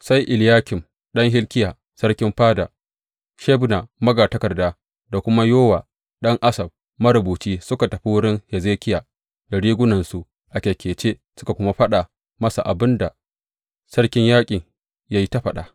Sai Eliyakim ɗan Hilkiya sarkin fada, Shebna magatakarda, da kuma Yowa ɗan Asaf marubuci suka tafi wurin Hezekiya, da rigunansu a kyakkece, suka kuwa faɗa masa abin da sarkin yaƙin ya yi ta farfaɗa.